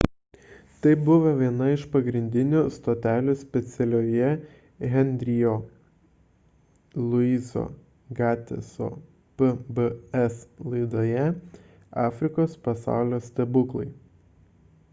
tai buvo viena iš pagrindinių stotelių specialioje henry'io louiso gateso pbs laidoje afrikos pasaulio stebuklai